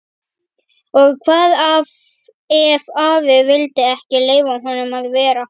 Og hvað ef afi vildi ekki leyfa honum að vera?